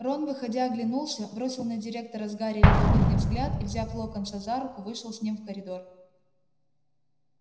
рон выходя оглянулся бросил на директора с гарри любопытный взгляд и взяв локонса за руку вышел с ним в коридор